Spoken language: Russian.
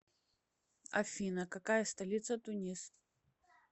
афина какая столица тунис